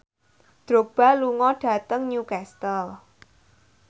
Drogba lunga dhateng Newcastle